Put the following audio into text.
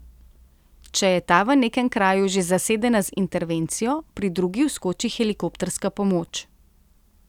Če je ta v nekem kraju že zasedena z intervencijo, pri drugi vskoči helikopterska pomoč.